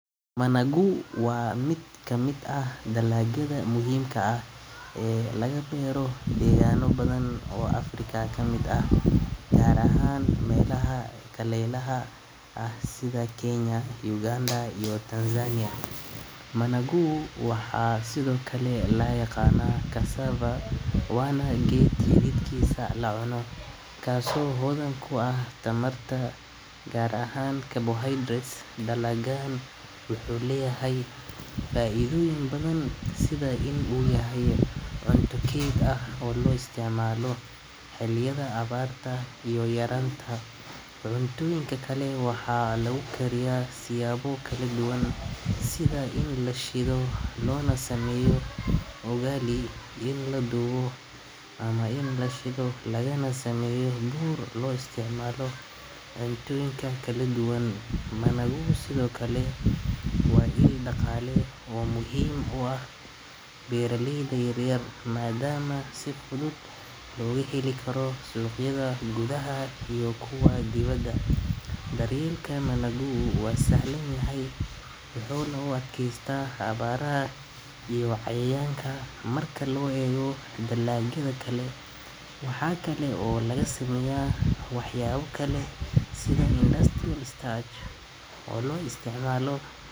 Managu waa mid ka mid ah dalagyada muhiimka ah ee laga beero deegaano badan oo Afrika ka mid ah, gaar ahaan meelaha kulaylaha ah sida Kenya, Uganda iyo Tanzania. Managa waxaa sidoo kale loo yaqaan cassava, waana geed xididkiisu la cuno, kaasoo hodan ku ah tamarta gaar ahaan carbohydrates. Dalaggan wuxuu leeyahay faa’iidooyin badan sida in uu yahay cunto keyd ah oo la isticmaalo xilliyada abaarta iyo yaraanta cunnooyinka kale. Waxaa lagu kariyaa siyaabo kala duwan sida in la shiido loona sameeyo ugali, in la dubo, ama in la shiido lagana sameeyo bur loo isticmaalo